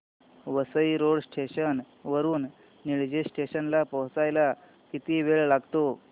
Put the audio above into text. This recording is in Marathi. वसई रोड स्टेशन वरून निळजे स्टेशन ला पोहचायला किती वेळ लागतो